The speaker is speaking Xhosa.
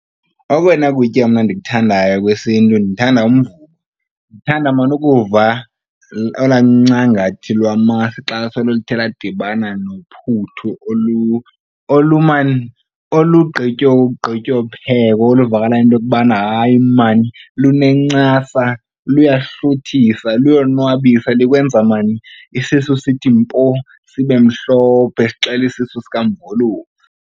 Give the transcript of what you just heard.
Okona kutya mna ndikuthandayo okwesiNtu ndithanda umvubo. Ndithanda maan ukuva olwaa ncangathi lwamasi xa soluthe ladibana nophuthu olu, man, olugqityophekwa oluvakalayo into yokubana hayi maan lunencasa, luyahluthisa, luyonwabisa likwenza maan isisu sithi mpo sibe mhlophe sixele isisu sikamvolofu.